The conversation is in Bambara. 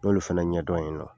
N ɲ'olu fɛnɛ ɲɛdɔn ye nɔ